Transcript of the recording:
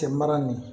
Cɛ mara nin